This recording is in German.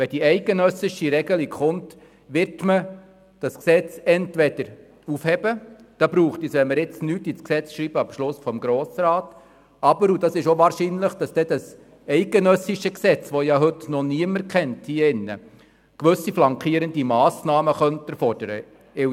Wenn die eidgenössische Regelung in Kraft tritt, wird man das Gesetz entweder durch einen Beschluss des Grossen Rats aufheben, oder das Bundesgesetz, das heute noch niemand kennt, könnte gewisse flankierende Massnahmen erfordern.